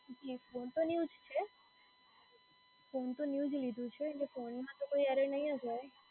જી SIM તો new જ લીધું છે. સીમ તો ન્યુ જ લીધું છે એટલે ફોનમાં તો કોઈ એરર નહીં જ હોય.